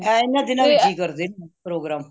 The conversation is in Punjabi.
ਇਹ ਇਹਨਾਂ ਦਿਨਾਂ ਵਿਚ ਹੀ ਕਰਦੇ ਨੇ programme